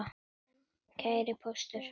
Kæri Póstur!